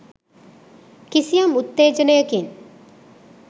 කිසියම් උත්තේජනයකින්